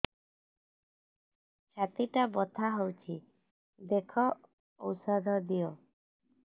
ଛାତି ଟା ବଥା ହଉଚି ଦେଖ ଔଷଧ ଦିଅ